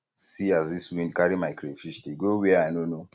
see as dis wind carry my crayfish dey um go where um i no know